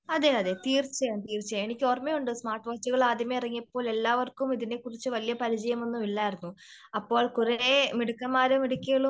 അതേ അതേ തീർച്ചയായും തീർച്ചയായും എന്നിക്കോർമ്മയുണ്ട് സ്മാർട്ട് വാച്ചുകൾ ആദ്യമേ ഇറങ്ങിയപ്പോ എല്ലാവർക്കും ഇതിനെ കുറിച്ച് വലിയ പരിചയമൊന്നും ഇല്ലായിരുന്നു. അപ്പോ കുറെ മിടുക്കന്മാരും മിടുക്കികളും